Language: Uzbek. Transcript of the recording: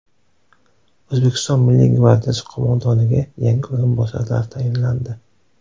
O‘zbekiston Milliy gvardiyasi qo‘mondoniga yangi o‘rinbosarlar tayinlandi.